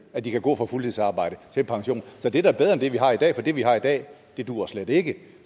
at de kan gå fra fuldtidsarbejde til pension så det er da bedre end det vi har i dag for det vi har i dag duer slet ikke